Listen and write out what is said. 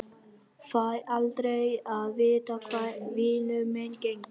Fæ aldrei að vita hvar vinur minn gengur.